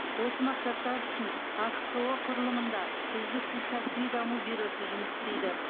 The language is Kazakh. осы мақсаттар үшін ахқо құрылымында үздіксіз кәсіби даму бюросы жұмыс істейді